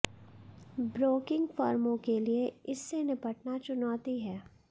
broking फर्मों के लिए इससे निपटना चुनौती है